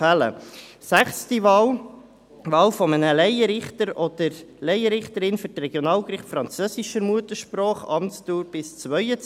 Die sechste Wahl: Wahl eines Laienrichters oder einer Laienrichterin für die Regionalgerichte französischer Muttersprache, Amtsdauer bis 2022.